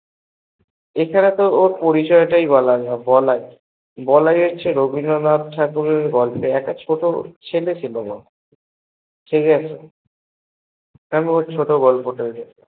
এছাড়াও তো ওর পরিচয় তাই পাওয়া যেত না ও হচ্ছে বলাই রবীন্দ্রনাথ ঠাকুরের গল্পে এ একটা ছোট ছেলে ছিল ঠিকাছে, তেমন ছোট গল্পে তৈরী রি হবে